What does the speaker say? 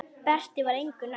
Berti var engu nær.